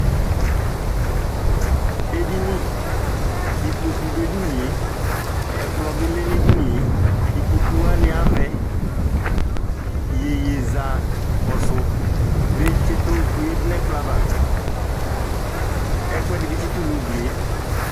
Edini, ikpoku dʋ edini e, ɛkplɔ bi lɛ nʋ edini e Ikpoku wani avɛ Iyeyezakɔsʋ bi tsitʋ oyadʋ nʋ ɛkplɔ ava, ɛkuɛdi bi tsitʋ nʋ ugli e